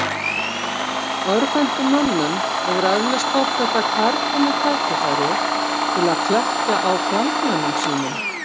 Örvhentum mönnum hefur eflaust þótt þetta kærkomið tækifæri til að klekkja á fjandmönnum sínum.